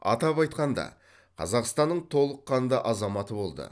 атап айтқанда қазақстанның толыққанды азаматы болды